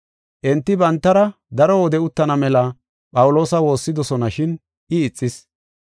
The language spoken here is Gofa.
Enti bantara daro wode uttana mela Phawuloosa woossidosona shin I ixis.